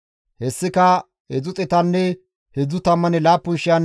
Hessika 337,500 dorsatanne deyshata,